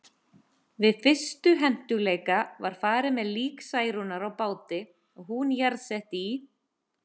Við fyrstu hentugleika var farið með lík Særúnar á báti og hún jarðsett í